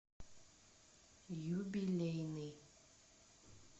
юбилейный